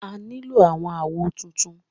A ó nílò àwọn àwo tuntun.